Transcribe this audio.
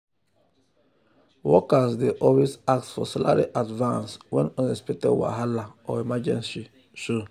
workers dey always ask for salary advance when unexpected wahala or emergency show.